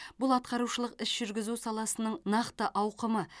бұл атқарушылық іс жүргізу саласының нақты ауқымы